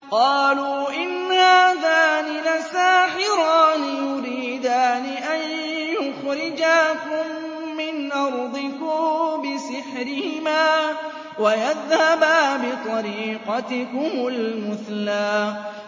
قَالُوا إِنْ هَٰذَانِ لَسَاحِرَانِ يُرِيدَانِ أَن يُخْرِجَاكُم مِّنْ أَرْضِكُم بِسِحْرِهِمَا وَيَذْهَبَا بِطَرِيقَتِكُمُ الْمُثْلَىٰ